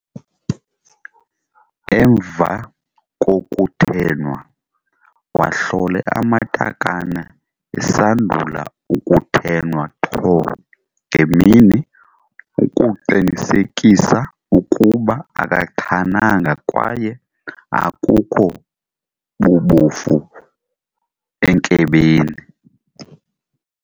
Emva kokuthenwa, wahlole amatakane esandula ukuthenwa qho ngemini ukuqinisekisa ukuba akaqhananga kwaye akukho bubofu enkebeni.